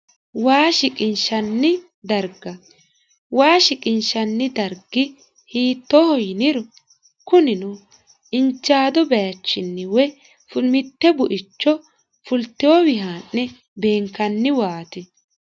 waa shiqinshanni darga waa shiqinshanni dargi hiittooho yiniro kunino injaadu baayiichinni woy mitte buicho fulteyowii haa'ne beenkanni waati